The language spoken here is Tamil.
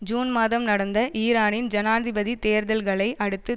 ஜூன் மாதம் நடந்த ஈரானின் ஜனாதிபதி தேர்தல்களை அடுத்து